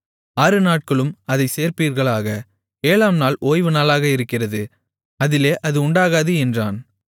ஆறுநாட்களும் அதைச் சேர்ப்பீர்களாக ஏழாம்நாள் ஓய்வுநாளாக இருக்கிறது அதிலே அது உண்டாகாது என்றான்